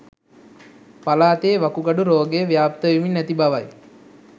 පළාතේ වකුගඩු රෝගය ව්‍යාප්ත වෙමින් ඇති බවයි.